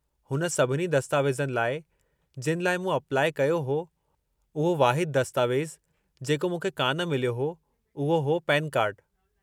हुन सभिनी दस्तावेज़नि लाइ, जिनि लाइ मूं अपलाइ कयो हो, उहो वाहिदु दस्तावेज़ु जेको मूंखे कान मिलियो हो, उहो हो पेनु कार्डु।